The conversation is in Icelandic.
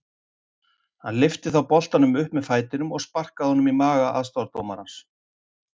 Hann lyfti þá boltanum upp með fætinum og sparkaði honum í maga aðstoðardómarans.